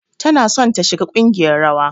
Tana son ta shiga kungiyar rawa.